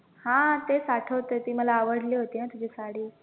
हा तेच आठवतंय ती मला आवडली होती ना तुझी साडी